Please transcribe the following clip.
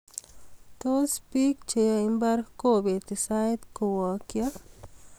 tos, Biko cheyoe imbar kobeti sait kowakcho